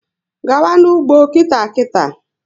Gaba n'ugbo nkịta nkịta!